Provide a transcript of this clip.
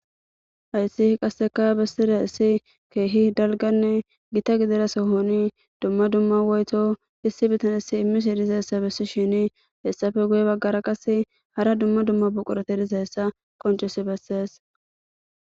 Hayssihi qasseka bessira issi keehi dalganne gita gidira sohoni dumma dumma woyto issi bitanessi immis i dizayssa bessi shini hessafe guye baggara qas hara dumma dumma buqurete dizayssa qoncis bessees.